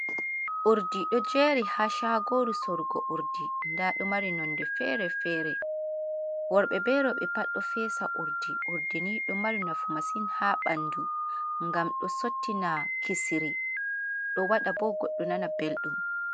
Urdi ɗo jeri ha shagoru sorugo urdi, nda ɗo mari nonde fere fere, worɓe be roɓe pat ɗo fesa urdi, urdi ni ɗo mari nafu masin ha ɓandu, ngam ɗo sottina kisiri ɗo waɗa bo goɗɗo nana belɗum.